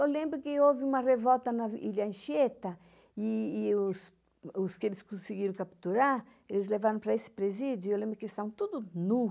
Eu lembro que houve uma revolta na Ilha Anchieta, e os que eles conseguiram capturar, eles levaram para esse presídio, e eu lembro que eles estavam todos nus.